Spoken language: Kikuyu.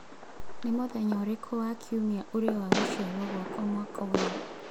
Nĩ mũthenya ũrĩkũ wa kiumia ũrĩ wa gũciarwo gwakwa mwaka ũyũ